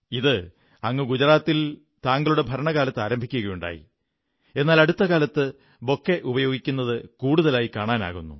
ഇത് ഗുജറാത്തിൽ താങ്കളുടെ ഭരണകാലത്ത് ആരംഭിക്കുകയുണ്ടായി എന്നാൽ അടുത്ത കാലത്ത് ബൊക്കെ ഉപയോഗിക്കുന്നത് കൂടുതലായി കാണാനാകുന്നു